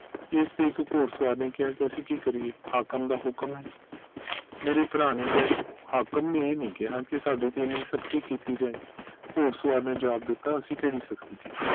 ਇਸ ਤੇ ਇਕ ਘੁੜਸਵਾਰ ਨੇ ਕਿਹਾ ਅਸੀਂ ਕੀ ਕਰੀਏ ਹਾਕਮ ਦਾ ਹੁਕਮ ਹੈ ਮੇਰੇ ਭਰਾ ਨੇ ਇਹ ਨਹੀਂ ਕਿਹਾ ਕਿ ਸਾਡੇ ਤੇ ਏਨ੍ਹੀ ਸਖਤੀ ਕੀਤੀ ਜਾਏ ਘੁੜਸਵਾਰ ਨੇ ਜਵਾਬ ਦਿੱਤਾ ਅਸੀਂ ਕਿਹੜੀ ਸਖਤੀ ਕੀਤੀ